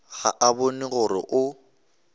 ga o bone gore o